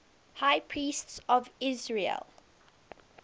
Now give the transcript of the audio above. high priests of israel